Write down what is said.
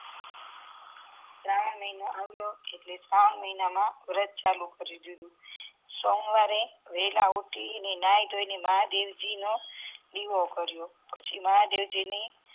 શ્રવણ મહિનો આવ્યો અને શ્રવણ મહિના માં વ્રત ચાલુ કરી દીધું સોમવારે વેળા ઉઠીને નાઈધોઈ ને મહાદેવજી નો દીવો કર્યો પછી મહાદેવજી ને